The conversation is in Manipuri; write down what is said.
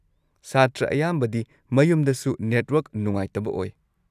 ꯁꯥꯇ꯭ꯔ ꯑꯌꯥꯝꯕꯗꯤ ꯃꯌꯨꯝꯗꯁꯨ ꯅꯦꯠꯋꯥꯔꯛ ꯅꯨꯡꯉꯥꯏꯇꯕ ꯑꯣꯏ꯫